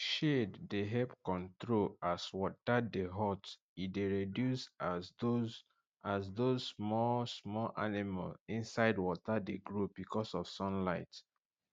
shade dey help control as water de hot e de reduce as those as those smalll small animal inside water de grow beacuse of sunlight